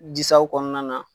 Disaw kɔnɔna na